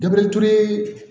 Dabe tue